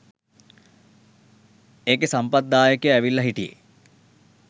ඒකෙ සම්පත් දායකය ඇවිල්ල හිටියෙ